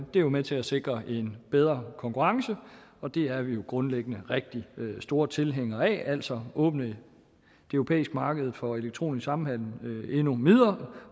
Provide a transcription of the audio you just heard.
det er jo med til at sikre en bedre konkurrence og det er vi grundlæggende rigtig store tilhængere af altså at åbne det europæiske marked for elektronisk samhandel endnu mere